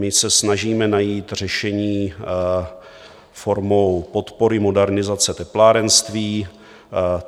My se snažíme najít řešení formou podpory modernizace teplárenství.